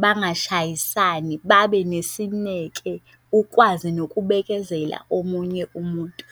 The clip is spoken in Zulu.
bangashayisani babe nesineke, ukwazi nokubekezela omunye umuntu.